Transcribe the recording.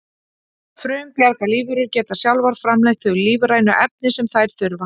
Frumbjarga lífverur geta sjálfar framleitt þau lífrænu efni sem þær þurfa.